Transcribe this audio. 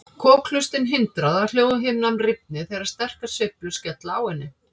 Kokhlustin hindrar að hljóðhimnan rifni þegar sterkar sveiflur skella á henni.